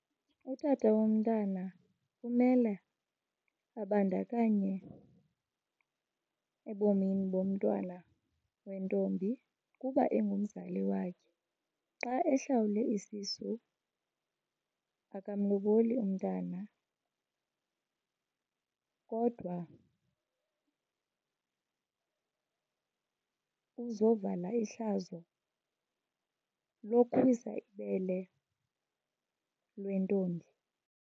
Utata womntana umele abandakanye ebomini bomntwana wentombi kuba engumzali wakhe. Xa ehlawule isisu akamloboli umntana kodwa uzovala ihlazo lokuwisa ibele lwentombi.